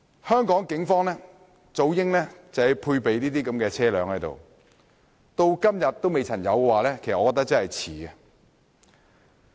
香港警方早應配備這類車輛，可是至今仍未有這種裝備，我認為真的有點遲。